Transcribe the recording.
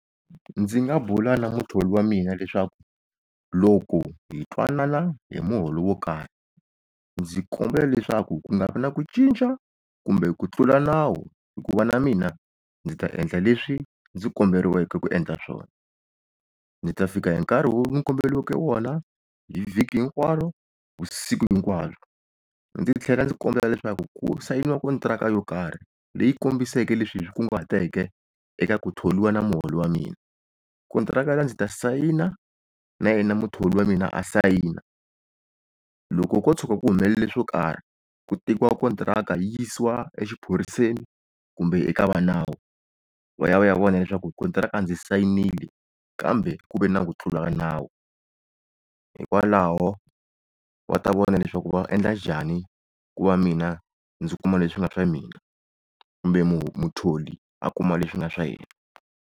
Ndzi nga bula na muthori wa mina leswaku loko hi twanana hi muholo wo karhi, ndzi kombela leswaku ku nga vi na ku cinca kumbe ku tlula nawu. Hikuva na mina ndzi ta endla leswi ndzi komberiweke ku endla swona. Ndzi ta fika hi nkarhi lowu ndzi komberiweke wona hi vhiki hinkwaro vusiku hinkwabyo, ndzi tlhela ndzi kombela leswaku ku sayiniwa kontirhaka yo karhi leyi kombiseke leswi hi swi kunguhateke eka ku thoriwa na muholo wa mina. Kontirhaka liya ndzi ta sayina na yena muthori wa mina a sayina. Loko ko tshuka ku humelele swo karhi ku tekiwa kontirhaka yi yisiwa exiphoriseni, kumbe eka va nawu va ya va ya vona eswaku kontirhaka ndzi sayinile kambe ku ve na ku ka tlula nawu. Hiikwalaho va ta vona leswaku va endla njhani ku va mina ndzi kuma leswi nga swa mina kumbe muthori a kuma leswi swi nga swa yena.